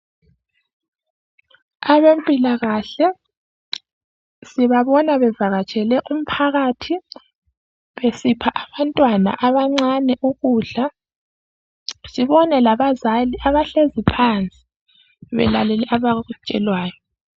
Abezempilakahle sibabona bevakatshele umphakathi besipha abantwana abancane ukudla. Sibone labazali abahlezi phansi belalele abakutshelwayo.